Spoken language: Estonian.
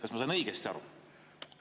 Kas ma sain õigesti aru?